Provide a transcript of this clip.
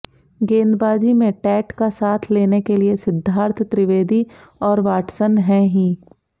गेंदबाजी में टैट का साथ लेने के लिए सिद्धार्थ त्रिवेदी और वाटसन हैं ही